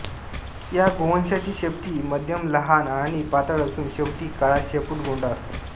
या गोवंशाची शेपटी मध्यमलहान आणि पातळ असून शेवटी काळा शेपुटगोंडा असतो